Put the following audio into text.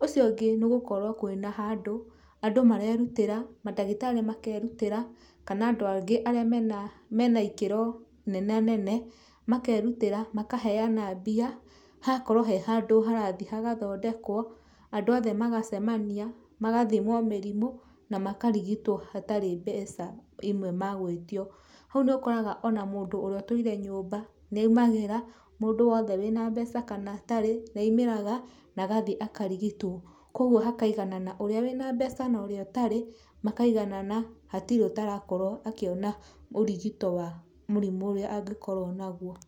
ũcio ũngĩ nĩgũkorwo kwĩna handũ, andũ marerutĩra, mandagĩtarĩ makerutĩra, kana andũ angĩ arĩa mena, mena ikĩro nenanene, makerutĩra, makaheana mbia, hagakorwo he handũ harathiĩ hagathondekwo, andũ othe magacemania, magathimwo mĩrimũ, na makarigitwo hatarĩ mbeca imwe magwĩtio, hau nĩũkoraga ona mũndũ ũrĩa ũtũire nyũmba nĩaumĩraga, mũndũ wothe wĩna mbeca kana atarĩ, nĩaumĩraga na agathiĩ akarigitwo, koguo hakaiganana, ũrĩa wĩna mbeca norĩa ũtarĩ, makaiganana, hatirĩ ũtarakorwo akĩona ũrigito wa mũrimũ ũrĩa nagĩkorwo naguo.